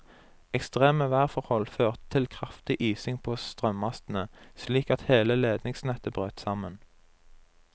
Ekstreme værforhold førte til kraftig ising på strømmastene, slik at hele ledningsnettet brøt sammen.